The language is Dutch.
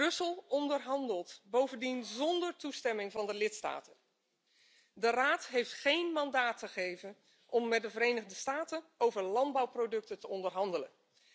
Brussel onderhandelt bovendien zonder toestemming van de lidstaten de Raad heeft geen mandaat gegeven om met de Verenigde Staten over landbouwproducten te onderhandelen.